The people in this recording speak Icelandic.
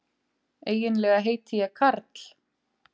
Eiginlega heiti ég Karl.